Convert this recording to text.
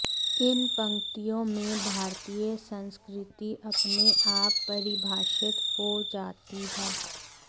इन पंक्तियों में भारतीय संस्कृति अपने आप परिभाषित हो जाती है